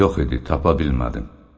Yox idi, tapa bilmədim.